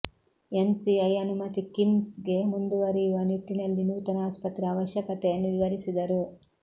MCI ಅನುಮತಿ ಕಿಮ್ಸ್ಗೆ ಮುಂದುವರಿಯುವ ನಿಟ್ಟಿನಲ್ಲಿ ನೂತನ ಆಸ್ಪತ್ರೆ ಅವಶ್ಯಕತೆಯನ್ನು ವಿವರಿಸಿದರು